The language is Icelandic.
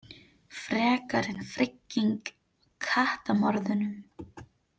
Frekar en friggíng kattamorðunum.